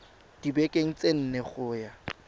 dibekeng tse nne go ya